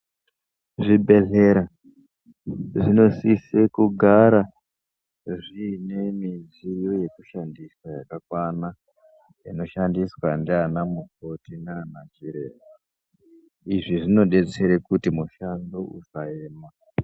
Zvibhedhlera ,zvinosise kugara zviine midziyo yekushandisa yakakwana, inoshandiswa ndianamukoti naanachiremba .Izvi zvinodetsere kuti mushando usaema.